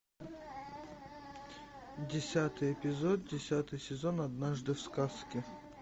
десятый эпизод десятый сезон однажды в сказке